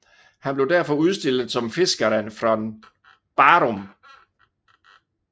Han blev derfor udstillet som Fiskaren från Barum